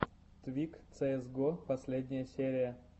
твик цээс го последняя серия